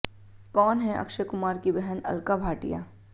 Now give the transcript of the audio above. कौन हैं अक्षय कुमार की बहन अलका भाटिया